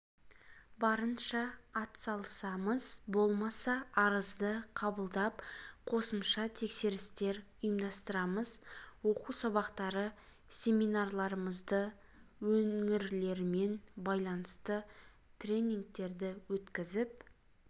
барынша атсалысамыз болмаса арызды қабылдап қосымша тексерістер ұйымдастырамыз оқу сабақтары семинарларымызды өңірлермен байланысты тренингтерді өткізіп